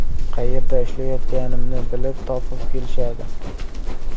Qayerda ishlayotganimni bilib, topib kelishadi.